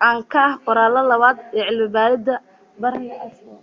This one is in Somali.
na ka ah qoraalaha labaad ee cilmi baaridda berhane asfaw